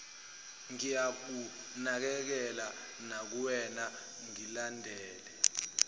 ngiyakunakekela nakuwena ngilindele